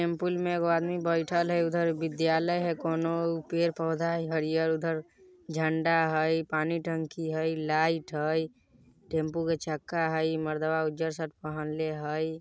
टेम्पुल में एगो आदमी बैठएल हय उधर विद्यालय हय कोनो पेड़-पौधा हय हरियर उधर झंडा हय पानी टंकी हय लाइट हय टेम्पू के चक्का हय इ मर्दावा उज्जर शर्ट पहनले हय।